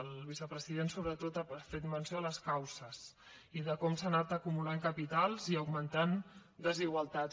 el vicepresident sobretot ha fet menció de les causes i de com s’han anat acumulant capitals i augmentant desigualtats